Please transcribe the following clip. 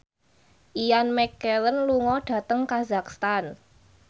Ian McKellen lunga dhateng kazakhstan